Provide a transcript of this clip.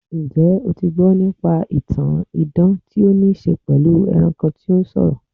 Njẹ́ o ti gbọ́ nípa ìtàn idan tí ó ní í ṣe pẹ̀lú ẹranko tó ń sọ̀rọ̀?